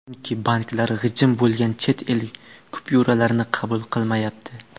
Chunki banklar g‘ijim bo‘lgan chet el kupyuralarini qabul qilmayapti.